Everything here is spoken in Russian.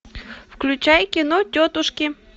включай кино тетушки